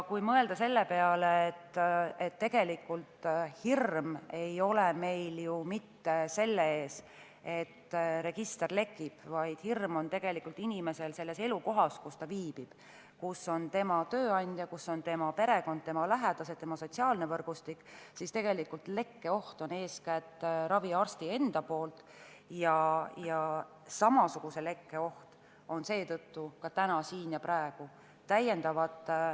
Kui mõelda ka selle peale, et tegelikult ei ole hirm ju mitte selle ees, et register lekib, vaid inimesel on hirm, et need andmed levivad tema elukohas, seal, kus ta viibib, kus on tema tööandja, tema perekond, tema lähedased, tema sotsiaalne võrgustik, siis on selge, et tegelikult põhjustab lekkeohtu eeskätt raviarst ise ja samasuguse lekke oht on seetõttu ka siin ja praegu.